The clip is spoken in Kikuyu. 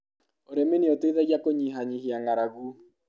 ũrĩmi ni ũteithagia kũnyihanyihia ng'aragu.